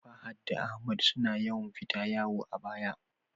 Fahad da Ahmad suna yawan fita wayo a baya